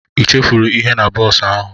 Ị chefuru ihe na bọs ahụ?